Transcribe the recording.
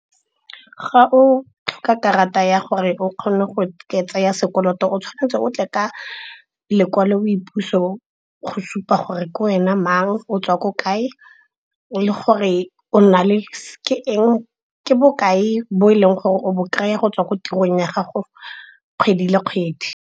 Ga o tlhoka karata ya gore o kgone go ka tsaya sekoloto o tshwanetse o tle ka lekwalo boipuso go supa gore ke wena mang, o tswa ko kae le gore ke bokae bo e leng gore o bo kry-a go tswa ko tirong ya gago kgwedi le kgwedi.